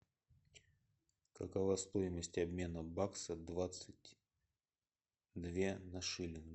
какова стоимость обмена бакса двадцать две на шиллинг